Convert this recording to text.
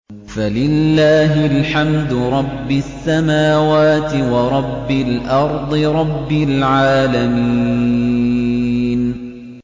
فَلِلَّهِ الْحَمْدُ رَبِّ السَّمَاوَاتِ وَرَبِّ الْأَرْضِ رَبِّ الْعَالَمِينَ